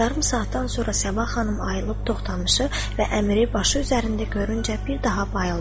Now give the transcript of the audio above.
Yarım saatdan sonra Səbah xanım ayılıb Toxtamışı və Əmiri başı üzərində görüncə bir daha bayıldı.